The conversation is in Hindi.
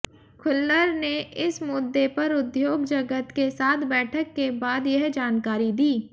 खुल्लर ने इस मुद्दे पर उद्योग जगत के साथ बैठक के बाद यह जानकारी दी